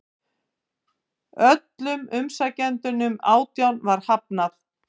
Öllum umsækjendunum átján var hafnað